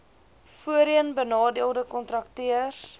voorheen benadeelde kontrakteurs